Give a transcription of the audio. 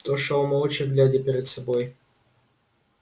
тот шёл молча глядя перед собой